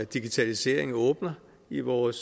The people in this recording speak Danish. digitaliseringen åbner i vores